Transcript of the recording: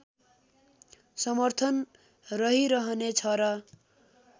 समर्थन रहिरहने छ र